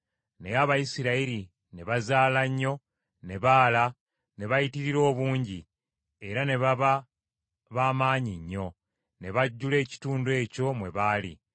Naye Abayisirayiri ne bazaala nnyo, ne baala, ne bayitirira obungi, era ne baba ba maanyi nnyo; ne bajjula ekitundu ekyo mwe baali.